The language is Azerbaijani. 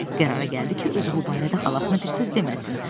Qərara gəldi ki, özü bu barədə xalasına bir söz deməsin.